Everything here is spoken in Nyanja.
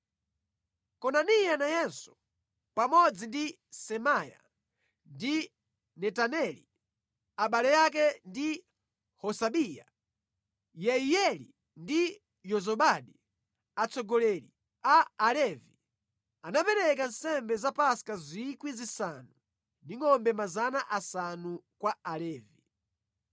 Konaniya nayenso pamodzi ndi Semaya ndi Netaneli, abale ake ndi Hasabiya, Yeiyeli ndi Yozabadi, atsogoleri a Alevi, anapereka nsembe za Paska 5,000 ndi ngʼombe 500 kwa Alevi.